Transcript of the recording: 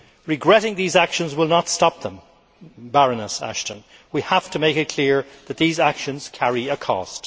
Regretting these actions will not stop them, Baroness Ashton. We have to make it clear that these actions carry a cost.